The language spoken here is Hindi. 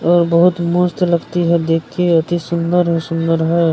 और बहुत मस्त लगती है देख के अतिसुंदर है सुंदर है।